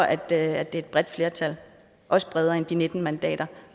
at det er et bredt flertal også bredere end de nitten mandater